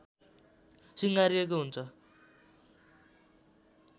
सिँगारिएकॊ हुन्छ